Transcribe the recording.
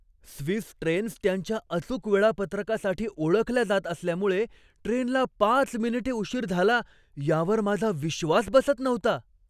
Swiss trains त्यांच्या अचूक वेळापत्रकासाठी ओळखल्या जात असल्यामुळे ट्रेनला पाच मिनिटे उशीर झाला यावर माझा विश्वास बसत नव्हता.